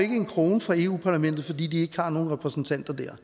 en krone fra europa parlamentet fordi de ikke har nogen repræsentanter der